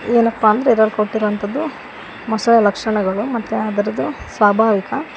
ಏನಪ್ಪಾ ಅಂದ್ರೆ ಇದ್ರಲ್ಲಿ ಕೊಟ್ಟಿರುವಂಥದ್ದು ಮೊಸಳೆ ಲಕ್ಷಣಗಳು ಮತ್ತು ಅದರದು ಸ್ವಾಭಾವಿಕ --